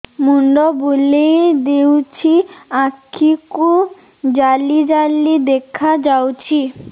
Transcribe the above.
ମୁଣ୍ଡ ବୁଲେଇ ଦେଉଛି ଆଖି କୁ ଜାଲି ଜାଲି ଦେଖା ଯାଉଛି